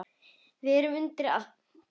Við erum undir allt búin.